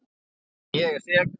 En ég er sek.